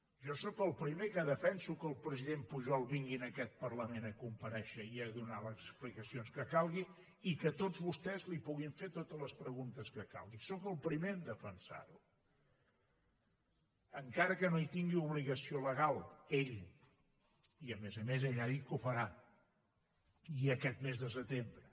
jo sóc el primer que defenso que el president pujol vingui a aquest parlament a comparèixer i a donar les explicacions que calgui i que tots vostès li puguin fer totes les preguntes que calgui sóc el primer a defensar ho encara que no hi tingui obligació legal ell i a més a més ell ha dit que ho farà i aquest mes de setembre